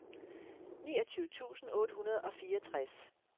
niogtyve tusind otte hundrede og fireogtres